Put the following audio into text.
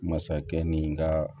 Masakɛ ni ka